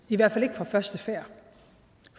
i hvert fald ikke fra første færd